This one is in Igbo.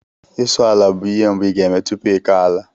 Isụ ala bụ ihe mbụ ị ga-eme tupu ịkọ ala